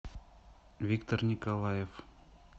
виктор николаев